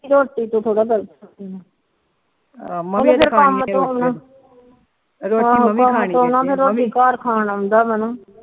ਰੋਟੀ ਦੇ ਥੋਰਾ ਗਲ ਕੀਤੀ ਏ ਕੰਮ ਤੋ ਆਉਂਦਾ ਘਰ ਖਾਣ ਆਉਂਦਾ